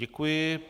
Děkuji.